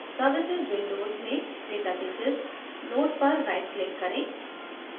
services window में databases node पर right click करें